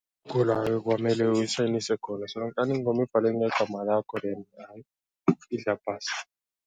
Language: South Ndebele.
Kula ekwamele uyisayinise khona, solonkana ingoma ibhalwe ngegama lakho then idla phasi.